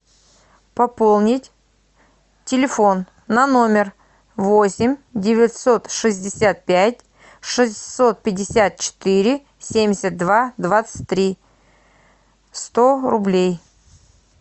пополнить телефон на номер восемь девятьсот шестьдесят пять шестьсот пятьдесят четыре семьдесят два двадцать три сто рублей